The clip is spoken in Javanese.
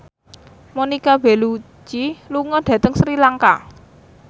Monica Belluci lunga dhateng Sri Lanka